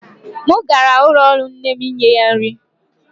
M gara ụlọ ọrụ nne m inye ya nri.